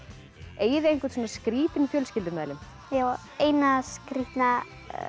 eigið þið einhvern skrítinn fjölskyldumeðlim ég á eina skrítna